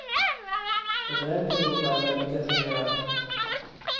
Under en period var jag väldigt deprimerad.